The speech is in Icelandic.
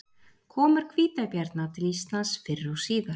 komur hvítabjarna til íslands fyrr og síðar